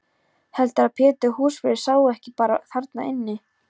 Heldurðu að Pétur húsvörður sé ekki bara þarna inni?